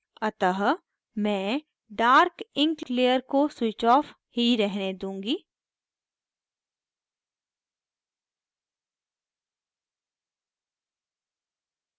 अतः मैं dark ink layer को switched off ही रहने दूंगी